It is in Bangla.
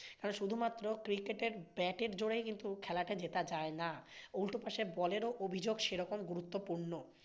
কারণ শুধুমাত্র cricket এ bat এর জোরেই খেলতে যেটা যায়না। উল্টোপাশে ball এরও অভিযোগ সেরম গুরুত্বপূর্ণ।